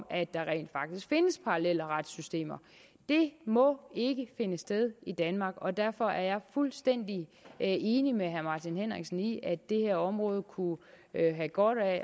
at der rent faktisk findes parallelle retssystemer det må ikke finde sted i danmark og derfor er jeg fuldstændig enig med herre martin henriksen i at det her område kunne have godt af